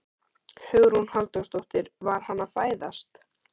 Hugrún Halldórsdóttir: Var hann að fæðast?